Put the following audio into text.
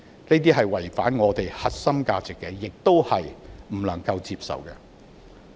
這是違反香港的核心價值，也是我們不能接受的。